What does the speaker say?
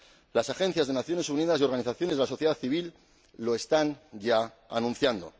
Las agencias de las Naciones Unidas y las organizaciones de la sociedad civil ya lo están anunciando.